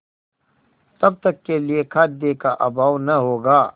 तब तक के लिए खाद्य का अभाव न होगा